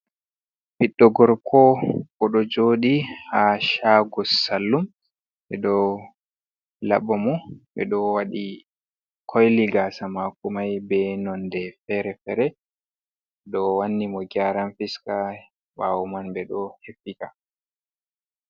Ɓiiɗɗo gorko oɗo jooɗi ha shago salun ɓeɗo laɓa mo ɓeɗo waɗi koili gasa mako mai be nonde fere-fere ɓeɗo wanni mo geran fiska ɓawo man bo ɓeɗo hefiika.